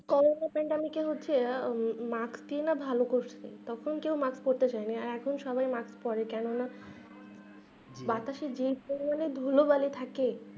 corona কি হচ্ছে mask টিও না ভালো করে তখন কেও mask পড়তে চাই না এখন সবাই mask পরে কেন না বাতাসে যেই পরিমানে ধুলো বালি থাকে